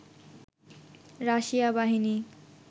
Russia বাহিনী